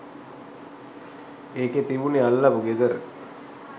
ඒකෙ තිබුනේ අල්ලපු ගෙදර